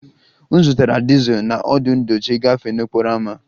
M zụtara dizel na ọdụ ndochi gafee n'okporo ámá